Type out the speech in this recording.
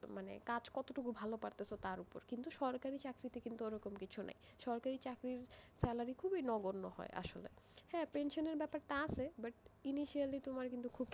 মানে কাজ কতটুকু ভালো পারতে, তার উপর, কিন্তু সরকারি চাকরিতে কিন্তু ওরকম কিছু নেই, সরকারি চাকরির salary খুবই নগণ্য হয় আসলে, হ্যাঁ pension এর ব্যাপার টা আছে, but, initially তোমার কিন্তু খুব,